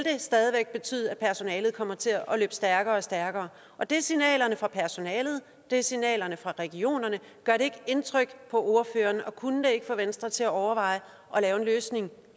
stadig væk betyde at personalet kommer til at løbe stærkere og stærkere og det er signalerne fra personalet det er signalerne fra regionerne gør det ikke indtryk på ordføreren og kunne det ikke få venstre til at overveje at lave en løsning